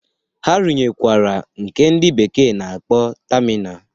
Ha runyekwara nke ndị bekee na-akpọ tamina